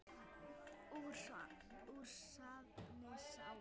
Úr safni SÁA.